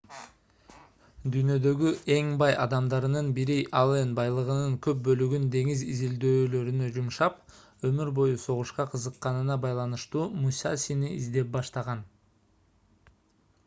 дүйнөдөгү эң бай адамдарынын бири аллен байлыгынын көп бөлүгүн деңиз изилдөөлөрүнө жумшап өмүр бою согушка кызыкканына байланыштуу мусасини издеп баштаган